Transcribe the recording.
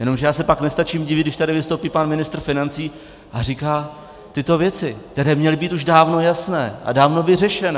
Jenomže já se pak nestačím divit, když tady vystoupí pan ministr financí a říká tyto věci, které měly být už dávno jasné a dávno vyřešené.